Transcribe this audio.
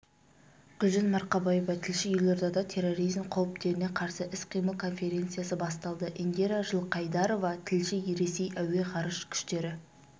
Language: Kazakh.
гүлжан марқабаева тілші елордада терроризм қауіптеріне қарсы іс-қимыл конференциясы басталды индира жылқайдарова тілші ресей әуе-ғарыш күштері